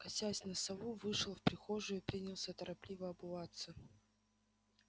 косясь на сову вышел в прихожую принялся торопливо обуваться